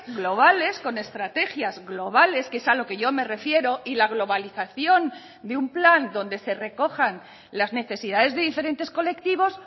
globales con estrategias globales que es a lo que yo me refiero y la globalización de un plan donde se recojan las necesidades de diferentes colectivos